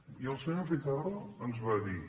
i el senyor pizarro ens va dir